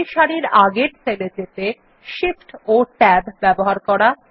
একটি সারির আগের সেল যেতে Shift ও Tab ব্যবহার করা